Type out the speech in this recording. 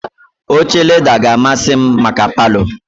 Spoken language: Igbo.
Oche leda ka amasị m maka Palọ